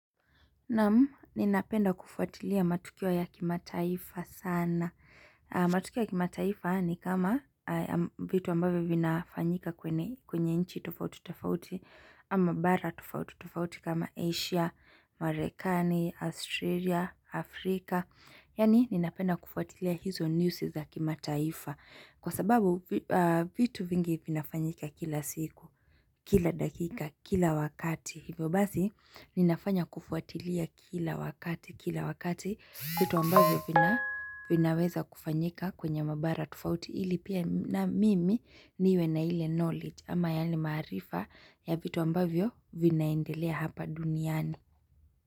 Nam ninapenda kufuatilia matukio ya kimataifa sana. Matukio ya kimataifa ni kama vitu ambavo vinafanyika kwenye nchi tofauti tofauti, ama bara tufauti tufauti kama Asia, Marikani, Australia, Afrika. Yani ninapenda kufuatilia hizo news za kimataifa. Kwa sababu vitu vingi vinafanyika kila siku, kila dakika, kila wakati. Hivyo basi ninafanya kufuatilia kila wakati kila wakati vitu ambavyo vina vinaweza kufanyika kwenye mabara tufauti ili pia na mimi niwe na ile knowledge ama yani maarifa ya vitu ambavyo vinaendelea hapa duniani.